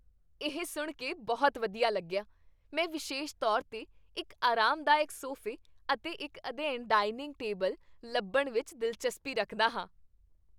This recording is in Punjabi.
ਇਹ ਸੁਣ ਕੇ ਬਹੁਤ ਵਧੀਆ ਲੱਗਿਆ! ਮੈਂ ਵਿਸ਼ੇਸ਼ ਤੌਰ 'ਤੇ ਇੱਕ ਅਰਾਮਦਾਇਕ ਸੋਫੇ ਅਤੇ ਇੱਕ ਅਧਿਐਨ ਡਾਇਨਿੰਗ ਟੇਬਲ ਲੱਭਣ ਵਿੱਚ ਦਿਲਚਸਪੀ ਰੱਖਦਾ ਹਾਂ।